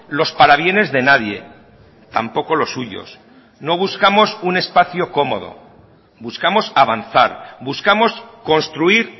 los parabienes de nadie tampoco los suyos no buscamos un espacio cómodo buscamos avanzar buscamos construir